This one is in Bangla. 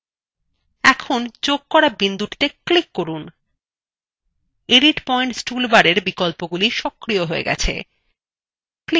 এখন যোগ করা বিন্দুটিতে click করুন edit পয়েন্টস toolbarএর বিকল্পগুলি সক্রিয় হয়ে গেছে